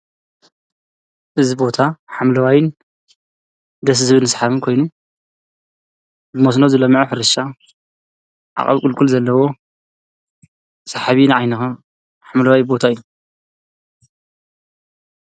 እዚ ቦታ ሓምለዋይን ደስ ዝብልን ስሓብን ኮይኑ ብመስኖ ዝለምዐ ሕርሻ ዓቐብ ቑልቑል ዘለዎ ሰሕቢ ንዓይንኻ ሓምለዋይ ቦታ እዩ